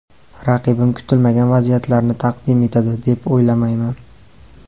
Raqibim kutilmagan vaziyatlarni taqdim etadi, deb o‘ylamayman.